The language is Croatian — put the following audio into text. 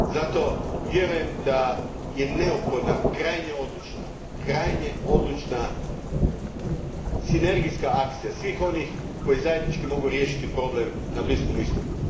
Zato, vjerujem da je neophodna krajnje odlučna sinergijska akcija svih onih koji zajednički mogu riješiti problem na Bliskom istoku.